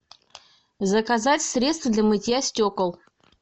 заказать средство для мытья стекол